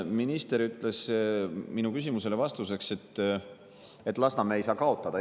Minister ütles minu küsimusele vastates, et Lasnamäe ei saa kaotada.